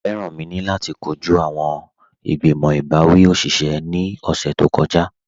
Feranmi ni lati kọju awọn mẹ̀mẹ̀bẹ̀rsì ti igbimọ̀ ibawi oṣiṣẹ̀ ni ọṣẹ̀ tó kọja